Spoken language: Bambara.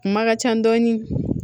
Ma ka ca dɔɔnin